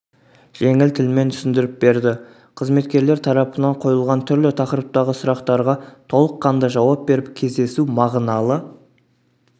жеңіл тілмен түсіндіріп берді қызметкерлер тарапынан қойылған түрлі тақырыптағы сұрақтарға толыққанды жауап беріп кездесу мағыналы